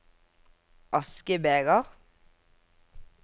askebeger